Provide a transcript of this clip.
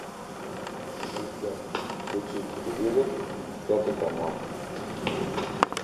ассистент включи телевизор пятый канал